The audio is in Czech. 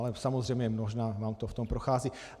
Ale samozřejmě možná vám to v tom prochází.